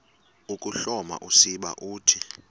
ukuhloma usiba uthi